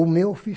O meu